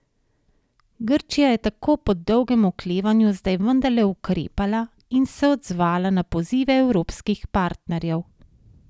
Grčija je tako po dolgem oklevanju zdaj vendarle ukrepala in se odzvala na pozive evropskih partnerjev.